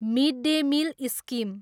mid day meal scheme